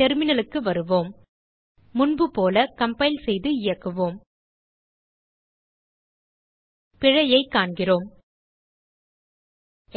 terminalக்கு வருவோம் முன்போல கம்பைல் செய்து இயக்குவோம் பிழையைக் காண்கிறோம்